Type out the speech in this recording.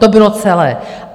To bylo celé.